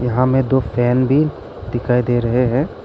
यहां में दो फैन भी दिखाई दे रहे हैं।